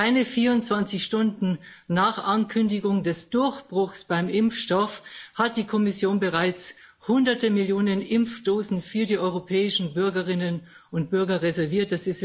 Keine 24 Stunden nach Ankündigung des Durchbruchs beim Impfstoff hat die Kommission bereits Hunderte Millionen Impfdosen für die europäischen Bürgerinnen und Bürger reserviert.